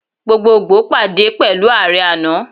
Gbogbogbo pade pẹlu Aare ana.